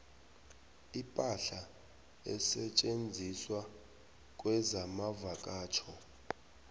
ipahla esetjenziswa kezamavakatjho